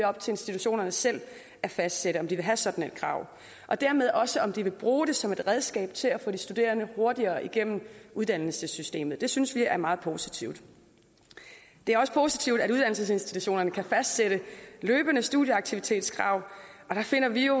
op til institutionerne selv at fastsætte om de vil have sådan et krav og dermed også om de vil bruge det som et redskab til at få de studerende hurtigere igennem uddannelsessystemet det synes vi er meget positivt det er også positivt at uddannelsesinstitutionerne kan fastsætte løbende studieaktivitetskrav og der finder vi jo